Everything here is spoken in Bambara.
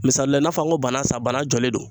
Misali la i n'a fɔ an ko banan sa banan jɔlen don